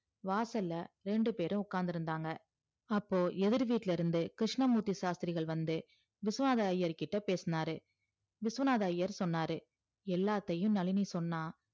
வாசல்ல இரண்டு பேரும் உட்காந்து இருந்தாங்க அப்போ எதிர் வீட்டுல இருந்து கிருஷ்ணமூர்த்தி ஷாஸ்திரிகள் வந்து விஸ்வநாதர் ஐயர்கிட்ட பேசுனாரு விஸ்வநாதர் ஐயர் சொன்னாரு எல்லாத்தையும் நளினி சொன்னா